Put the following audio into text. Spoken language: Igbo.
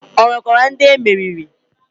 O nwekwara ndị emeriri.